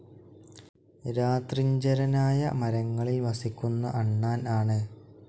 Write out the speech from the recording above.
രാത്രിഞ്ചരനായ മരങ്ങളിൽ വസിക്കുന്ന അണ്ണാൻ ആണ്.